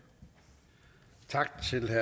at